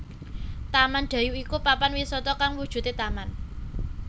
Taman Dayu iku papan wisata kang wujude taman